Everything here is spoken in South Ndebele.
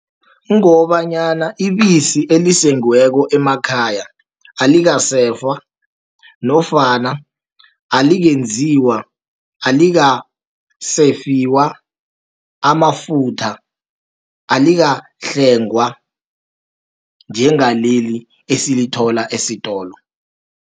Kungobanyana ibisi elisengiweko emakhaya, alikasefwa, nofana alingenziwa, alikasefiwa amafutha, alikahlwengwa njengaleli esilithola esitolo.